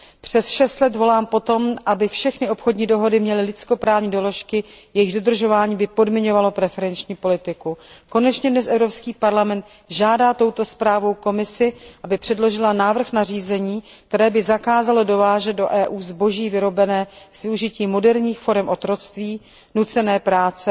Přes šest let volám po tom, aby všechny obchodní dohody měly lidskoprávní doložky, jejichž dodržování by podmiňovalo preferenční politiku. Konečně dnes Evropský parlament žádá touto zprávou Komisi, aby předložila návrh nařízení, které by zakázalo dovážet do Evropské unie zboží vyrobené s využitím moderních forem otroctví, nucené práce